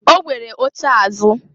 O nwere oche azụ.